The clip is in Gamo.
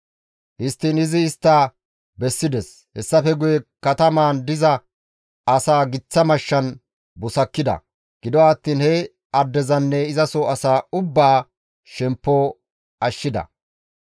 Histtiin izi istta bessides; hessafe guye katamaan diza asaa giththa mashshan busakkida; gido attiin he addezanne izaso asaa ubbaa shemppo ashshida.